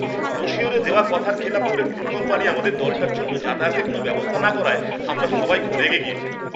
ব্রোশিওরে দেওয়া কথার খেলাপ করে ট্যুর কোম্পানি আমাদের দলটার জন্য যাতায়াতের কোনও ব্যবস্থা না করায় আমরা সবাই খুব রেগে গিয়েছিলাম।